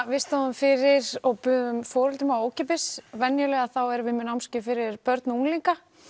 við stóðum fyrir og buðum foreldrum á ókeypis venjulega þá erum við með námskeið fyrir börn og unglinga